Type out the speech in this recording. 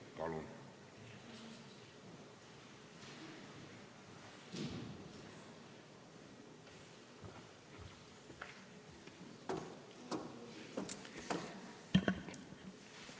Palun!